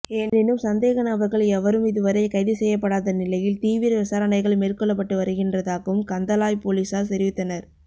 எனினும் சந்தேக நபர்கள் எவரும் இதுவரை கைது செய்யப்படாத நிலையில் தீவிர விசாரணைகள் மேற்கொள்ளப்பட்டு வருகின்றதாகவும் கந்தளாய் பொலிஸார் தெரிவித்தனர்